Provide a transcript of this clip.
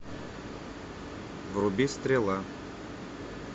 вруби стрела